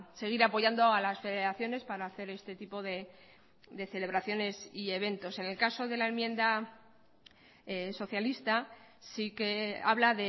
seguir apoyando a las federaciones para hacer este tipo de celebraciones y eventos en el caso de la enmienda socialista sí que habla